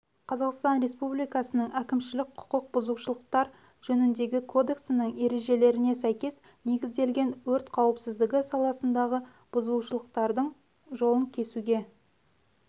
қазақстан республикасының әкімшілік құқық бұзушылықтар жөніндегі кодексінің ережелеріне сәйкес негізделген өрт қауіпсіздігі саласындағы бұзушылықтардың жолын кесуге